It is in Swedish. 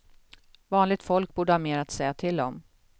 Vanligt folk borde ha mer att säga till om.